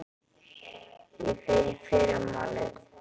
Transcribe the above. Ég fer í fyrramálið.